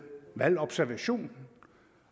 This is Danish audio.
valgobservation